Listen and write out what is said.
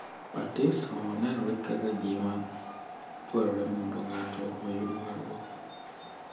Batiso nenore kaka gima dwarore mondo ng’ato oyud warruok, .